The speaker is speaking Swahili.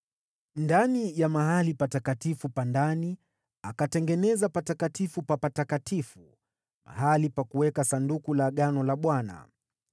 Ndani ya Hekalu akatengeneza sehemu takatifu ya ndani, kwa ajili ya kuweka Sanduku la Agano la Bwana .